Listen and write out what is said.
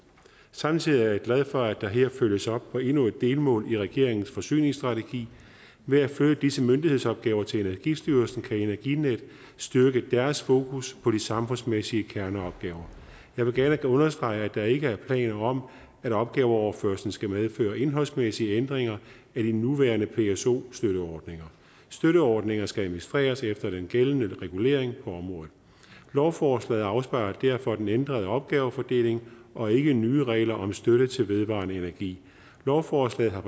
samtidig er jeg glad for at der her følges op på endnu et delmål i regeringens forsyningsstrategi ved at flytte disse myndighedsopgaver til energistyrelsen kan energinet styrke deres fokus på de samfundsmæssige kerneopgaver jeg vil gerne understrege at der ikke er planer om at opgaveoverførslen skal medføre indholdsmæssige ændringer af de nuværende pso støtteordninger støtteordninger skal administreres efter den gældende regulering på området lovforslaget afspejler derfor den ændrede opgavefordeling og ikke nye regler om støtte til vedvarende energi lovforslaget har